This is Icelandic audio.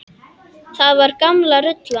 Það var gamla rullan.